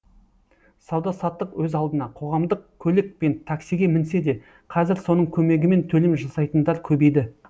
сауда саттық өз алдына қоғамдық көлік пен таксиге мінсе де қазір соның көмегімен төлем жасайтындар көбейді